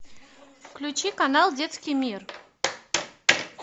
включи канал детский мир